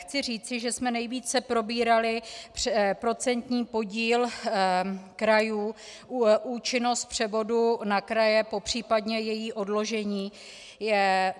Chci říci, že jsme nejvíce probírali procentní podíl krajů, účinnost převodu na kraje, případně její odložení.